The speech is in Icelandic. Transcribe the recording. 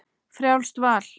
Frjálst val!